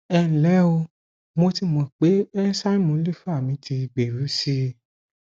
ẹ ǹ lé o mo ti mọ pé ẹńsáìmù lífà mi ti gbèrú sí i